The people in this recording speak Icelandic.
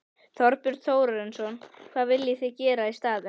Þorbjörn Þórðarson: Hvað viljið þið gera í staðinn?